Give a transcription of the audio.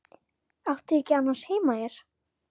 Átti ég annars ekki heima hér?